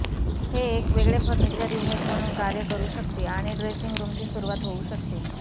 हे एक वेगळे फर्निचर युनिट म्हणून कार्य करू शकते आणि ड्रेसिंग रूमची सुरूवात होऊ शकते